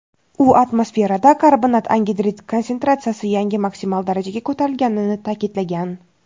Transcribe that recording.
u atmosferada karbonat angidrid konsentratsiyasi yangi maksimal darajaga ko‘tarilganini ta’kidlagan.